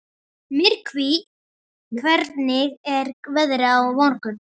Myrkvi, hvernig er veðrið á morgun?